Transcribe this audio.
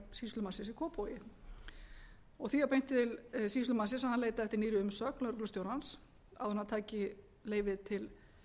sýslumannsins í kópavogi því var beint til sýslumannsins að hann leitaði eftir nýrri umsögn lögreglustjórans áður en hann tæki leyfið til